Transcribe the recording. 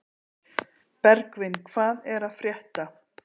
Bergvin, hvað er að frétta?